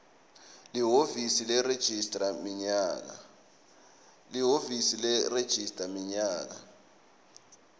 lihhovisi leregistrar minyaka